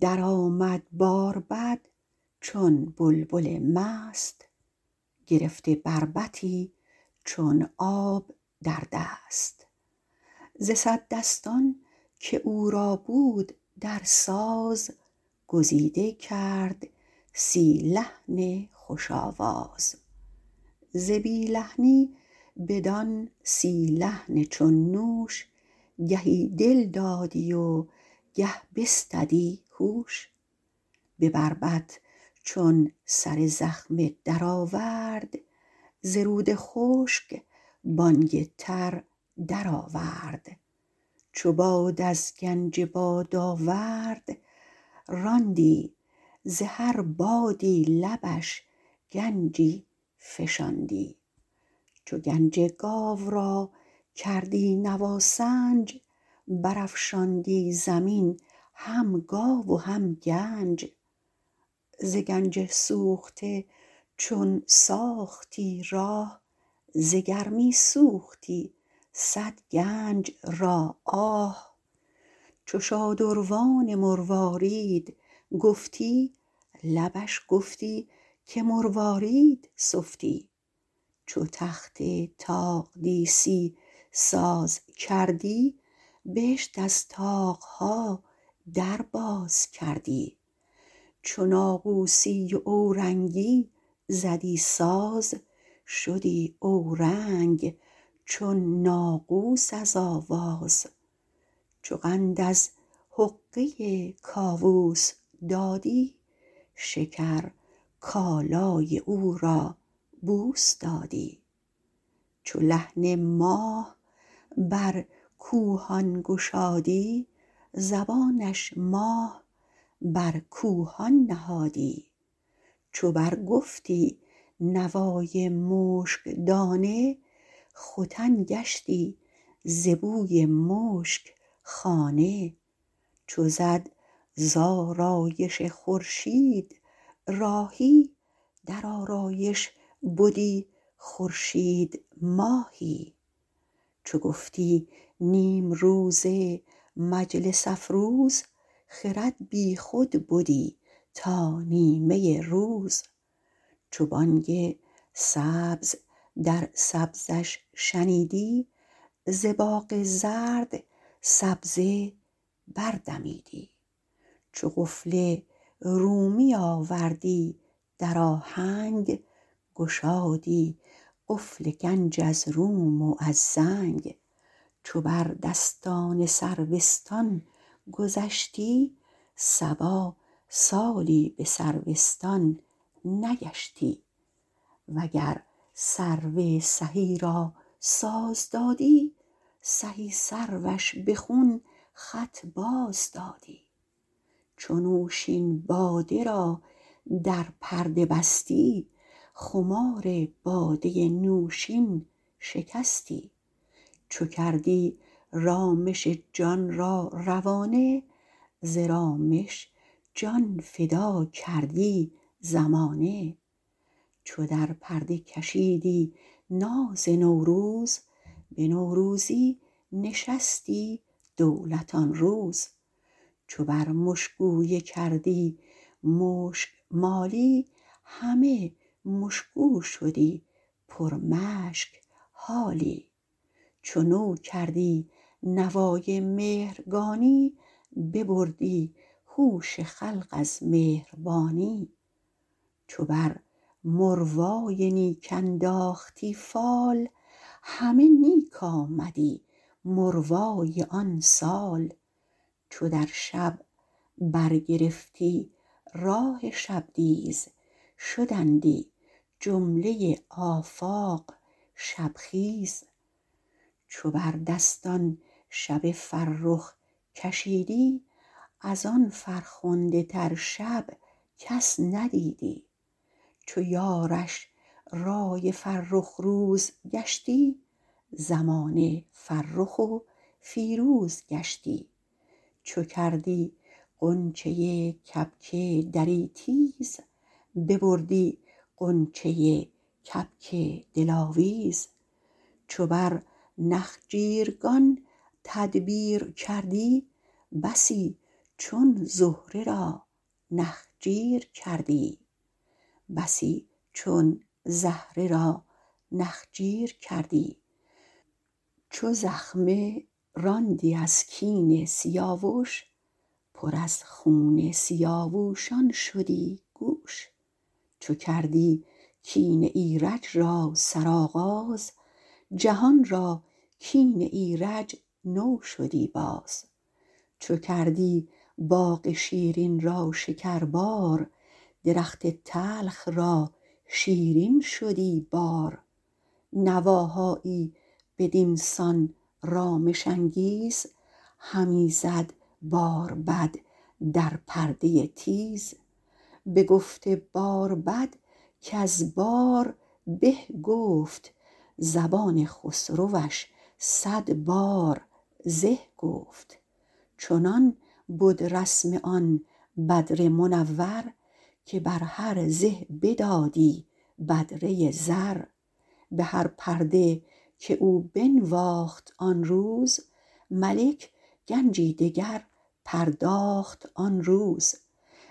در آمد باربد چون بلبل مست گرفته بربطی چون آب در دست ز صد دستان که او را بود در ساز گزیده کرد سی لحن خوش آواز ز بی لحنی بدان سی لحن چون نوش گهی دل دادی و گه بستدی هوش به بربط چون سر زخمه درآورد ز رود خشک بانگ تر درآورد اول گنج بادآورد چو باد از گنج بادآورد راندی ز هر بادی لبش گنجی فشاندی دوم گنج گاو چو گنج گاو را کردی نواسنج برافشاندی زمین هم گاو و هم گنج سوم گنج سوخته ز گنج سوخته چون ساختی راه ز گرمی سوختی صد گنج را آه چهارم شادروان مروارید چو شادروان مروارید گفتی لبش گفتی که مروارید سفتی پنجم تخت طاق دیسی چو تخت طاق دیسی ساز کردی بهشت از طاق ها در باز کردی ششم و هفتم ناقوسی و اورنگی چو ناقوسی و اورنگی زدی ساز شدی اورنگ چون ناقوس از آواز هشتم حقه کاوس چو قند از حقه کاوس دادی شکر کالای او را بوس دادی نهم ماه بر کوهان چون لحن ماه بر کوهان گشادی زبانش ماه بر کوهان نهادی دهم مشک دانه چو برگفتی نوای مشک دانه ختن گشتی ز بوی مشک خانه یازدهم آرایش خورشید چو زد زآرایش خورشید راهی در آرایش بدی خورشید ماهی دوازدهم نیم روز چو گفتی نیم روز مجلس افروز خرد بی خود بدی تا نیمه روز سیزدهم سبز در سبز چو بانگ سبز در سبزش شنیدی ز باغ زرد سبزه بر دمیدی چهاردهم قفل رومی چو قفل رومی آوردی در آهنگ گشادی قفل گنج از روم و از زنگ پانزدهم سروستان چو بر دستان سروستان گذشتی صبا سالی به سروستان نگشتی شانزدهم سرو سهی و گر سرو سهی را ساز دادی سهی سروش به خون خط باز دادی هفدهم نوشین باده چو نوشین باده را در پرده بستی خمار باده نوشین شکستی هیجدهم رامش جان چو کردی رامش جان را روانه ز رامش جان فدا کردی زمانه نوزدهم ناز نوروز یا ساز نوروز چو در پرده کشیدی ناز نوروز به نوروزی نشستی دولت آن روز بیستم مشگویه چو بر مشگویه کردی مشگ مالی همه مشگو شدی پر مشک حالی بیست و یکم مهرگانی چو نو کردی نوای مهرگانی ببردی هوش خلق از مهربانی بیست و دوم مروای نیک چو بر مروای نیک انداختی فال همه نیک آمدی مروای آن سال بیست و سوم شبدیز چو در شب بر گرفتی راه شبدیز شدندی جمله آفاق شب خیز بیست و چهارم شب فرخ چو بر دستان شب فرخ کشیدی از آن فرخنده تر شب کس ندیدی بیست و پنجم فرخ روز چو یارش رأی فرخ روز گشتی زمانه فرخ و فیروز گشتی بیست و ششم غنچه کبک دری چو کردی غنچه کبک دری تیز ببردی غنجه کبک دل آویز بیست و هفتم نخجیرگان چو بر نخجیرگان تدبیر کردی بسی چون زهره را نخجیر کردی بیست و هشتم کین سیاوش چو زخمه راندی از کین سیاوش پر از خون سیاوشان شدی گوش بیست و نهم کین ایرج چو کردی کین ایرج را سرآغاز جهان را کین ایرج نو شدی باز سی ام باغ شیرین چو کردی باغ شیرین را شکربار درخت تلخ را شیرین شدی بار نواهایی بدین سان رامش انگیز همی زد باربد در پرده تیز بگفت باربد کز بار به گفت زبان خسروش صدبار زه گفت چنان بد رسم آن بدر منور که بر هر زه بدادی بدره زر به هر پرده که او بنواخت آن روز ملک گنجی دگر پرداخت آن روز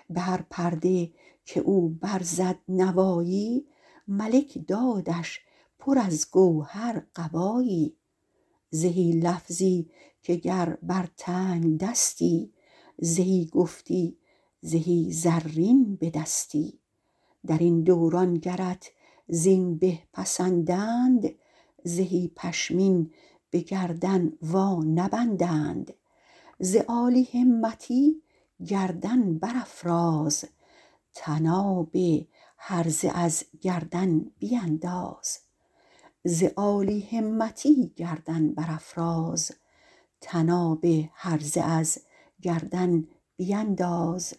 به هر پرده که او برزد نوایی ملک دادش پر از گوهر قبایی زهی لفظی که گر بر تنگ دستی زهی گفتی زهی زرین به دستی درین دوران گرت زین به پسندند زهی پشمین به گردن وانبندند ز عالی همتی گردن برافراز طناب هرزه از گردن بینداز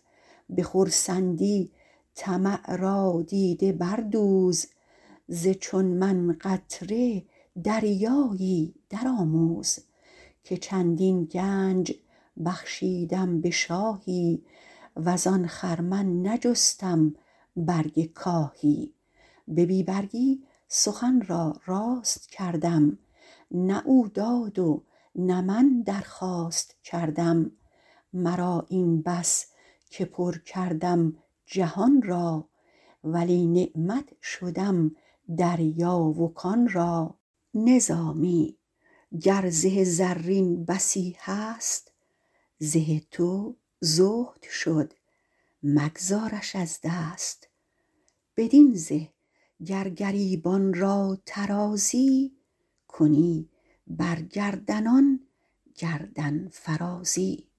به خرسندی طمع را دیده بردوز ز چون من قطره دریایی درآموز که چندین گنج بخشیدم به شاهی وز آن خرمن نجستم برگ کاهی به بی برگی سخن را راست کردم نه او داد و نه من درخواست کردم مرا این بس که پر کردم جهان را ولی نعمت شدم دریا و کان را نظامی گر زه زرین بسی هست زه تو زهد شد مگذارش از دست بدین زه گر گریبان را طرازی کنی بر گردنان گردن فرازی